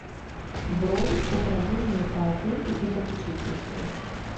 бронь управление по опеке и попечительству